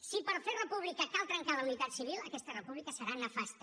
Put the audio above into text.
si per fer república cal trencar la unitat civil aquesta república serà nefasta